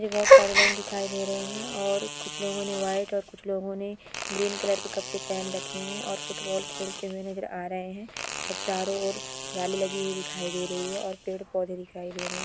मुझे बहुत सारे लोग दिखाई दे रहे हैं और कुछ लोगों ने व्हाइट और कुछ लोगों ने ग्रीन कलर के कपड़े पहन रखे हैं और फुटबॉल खेलते हुए नजर आ रहे हैं और चारों ओर जाली लगी हुई दिखाई दे रही है और पेड़ पौधे दिखाई दे रहे हैं।